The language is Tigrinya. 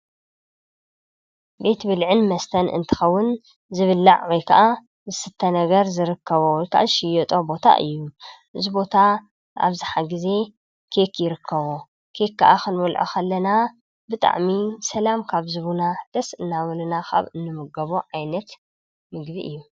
ቤት ብልዕን መስተን እንትኸውን ዝብእዩ ወይ ከዓ ዝስተ ነገር ዝርከቦ ከዓ ሽየጦ ቦታ እዩ እዝቦታ ኣብዝሓ ጊዜ ኬክ ይርከቦ ከ ከዓ ኽንበልዖ ኸለና ብጣዕሚ ሰላም ካብ ዝቡና ደስእ እናበሉና ኻብ እንምገቦ ዓይነት ምግቢ እዩ።